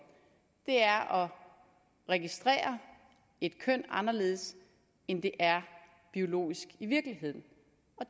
er at registrere et køn anderledes end det er biologisk i virkeligheden